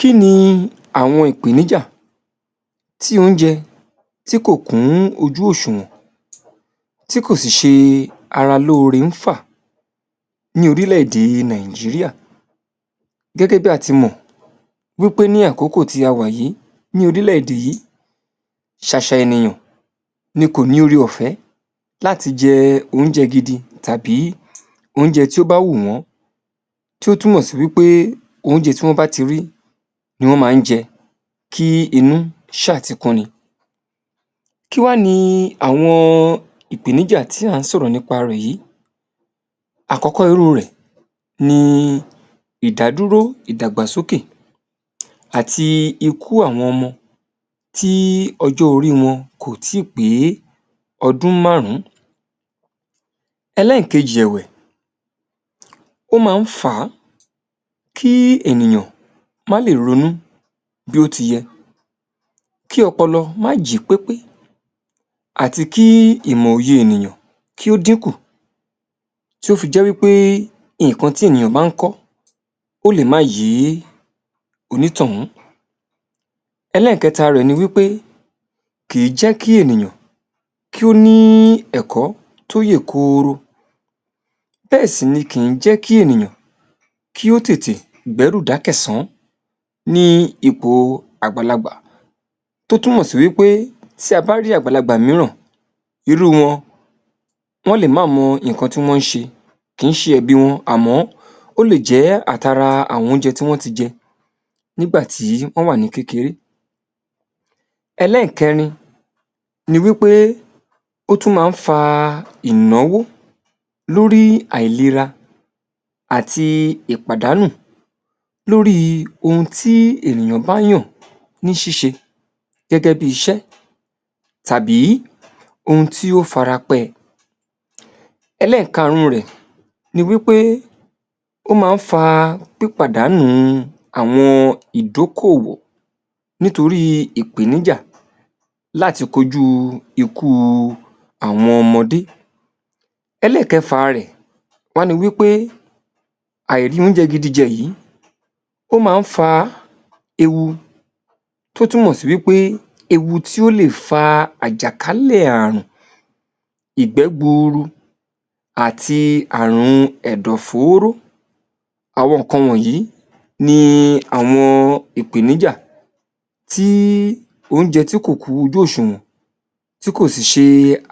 Kí ni àwọn ìpèníjà tí oúnjẹ tí kò kún ojú òṣùwọ̀n, tí kò sì ṣe ara lóre fà ní orílẹ̀-èdè Nàìjíríà. Gẹ́gẹ́ bí a ti mọ̀, wí pé ní àkókò tí a wà yìí lórílẹ̀ èdè yìí, ṣàṣà ènìyàn ni kò ní oore-ọ̀fẹ́ láti jẹ oúnjẹ gidi tàbí oúnjẹ tí ó bá wù wọ́n. Tí ó túmọ̀ sí wí pé oúnjẹ tí wọn bá ti rí ni wọ́n máa ń jẹ kí inú ṣà tí kún ni. Kí wá ni àwọn ìpèníjà tí a ń sọ̀rọ̀ nípa rẹ yìí, àkọ́kọ́ irú rẹ̀ ni ìdádúró, ìdàgbàsókè àti ikú àwọn ọmọ tí ọjọ́ orí wọn kò tí pé ọdún márùn-ún. Ẹlẹ́ẹ̀kejì ẹ̀wẹ̀, ó máa fa kí ènìyàn má lè ronú bí ó tI yẹ. Kí ọpọlọ máa jí pípé, àti kí ìmọ̀ òye ènìyàn kí ó dín kù tí ó fi jẹ́ wí pé nǹkan tí ènìyàn bá ń kọ́ ó lè má yé onítọ̀ún. Ẹlẹ́ẹ̀kẹta rẹ̀ ni wí pé kì í jẹ́ kí ènìyàn kí ó ní ẹ̀kọ́ tí ó yè kuru. Bẹ́ẹ̀ sì ní kì í jẹ́ kí ènìyàn kí ó tètè gbẹ́ru dákẹ̀sán ní ìpò àgbàlagbà tó túmọ̀ sí wí pé tí a bá rí àgbàlagbà mìíràn, irú wọn, wọn lé máa mọ nǹkan tí wọ́n ń ṣe kì í ṣe ẹ̀bi wọn àmọ́ ó lè jẹ àtara àwọn oúnjẹ tí wọn ti jẹ nígbà tí wọ́n wà ní kékeré. Ẹlẹ́ẹ̀kẹrin, ni wí pé ó tún má fa ìnáwó lórí àìlera àti ìpàdánù lórí ohun tí ènìyàn bá yàn ní ṣíṣe gẹ́gẹ́ bí iṣẹ́ tàbí ohun tí ó fara pẹ. Ẹlẹ́ẹ̀karun rẹ̀, ni wí pé ó máa ń fa pípàdánú àwọn ìdókòwò nítorí ìpèníjà láti ko jú ikú àwọn ọmọdé. Ẹlẹ́ẹ̀kẹfà rẹ̀, wá ni wí pé àìri oúnjẹ gidi jẹ yí ó máa ń fa ewu tó túmọ̀ sí wí pé ewu tí ò lè fa àjàkálẹ̀ àrùn, ìgbẹ́ gburu àti àrùn ẹ̀dọ̀ fóró. Àwọn nǹkan wọ̀nyí ni àwọn ìpèníjà tí tí oúnjẹ tí kò kún ojú òṣùwọ̀n, tí kò sì ṣe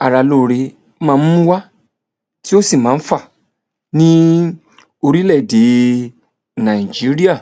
ara lóre máa ń mú wá tí ó sì máa fa ní orílẹ̀-èdè Nàìjíríà.